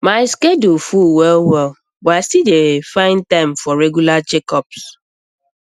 my schedule full well well but i still dey um find time for regular checkups